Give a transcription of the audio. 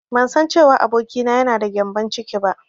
Bansan cewa abokina yana da gyambon ciki ba.